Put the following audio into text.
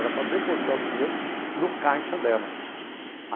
Era para depositar o dinheiro no caixa dela.